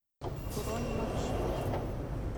бронь максим